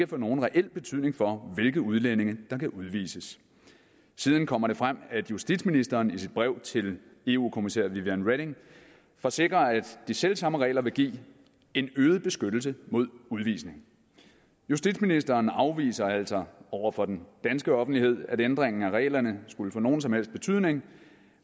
få nogen reel betydning for hvilke udlændinge der kan udvises siden kom det frem at justitsministeren i sit brev til eu kommissær viviane reding forsikrede at de selv samme regler vil give en øget beskyttelse mod udvisning justitsministeren afviser altså over for den danske offentlighed at ændringen af reglerne skulle få nogen som helst betydning